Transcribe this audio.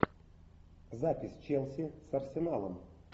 запись челси с арсеналом